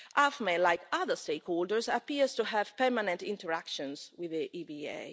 AFME, like other stakeholders, appears to have permanent interactions with the EBA.